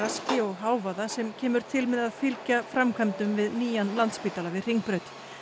hávaða sem kemur til með að fylgja framkvæmdum við nýjan Landspítala við Hringbraut